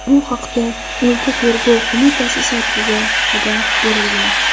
Bu haqda o‘lka Tergov qo‘mitasi saytida xabar berilgan .